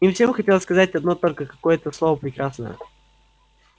им всем хотелось сказать одно только какое-то слово прекрасное